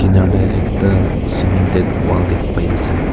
kinar te ekta cemented wall dekhi pai ase.